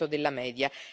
della media